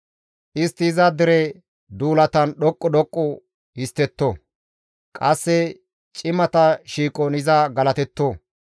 Istti iza dere duulatan dhoqqu dhoqqu histtetto; qasse cimata shiiqon iza galatetto.